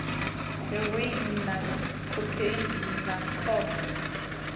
heroine na khokheini na khombo